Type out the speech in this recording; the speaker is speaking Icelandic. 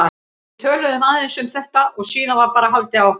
Við töluðum aðeins um þetta og síðan var bara haldið áfram.